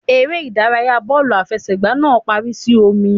Eré ìdárayá bọ́ọ̀lù àfẹsẹ̀gbá náà parí sí ọ̀mì.